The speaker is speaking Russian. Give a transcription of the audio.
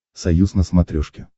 союз на смотрешке